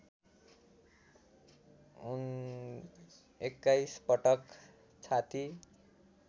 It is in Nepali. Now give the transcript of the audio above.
२१ पटक छाती